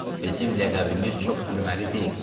Bizim ləqəbimiz çox gülməli deyil.